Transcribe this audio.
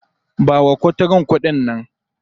Ba wa kuturun kuɗi nan.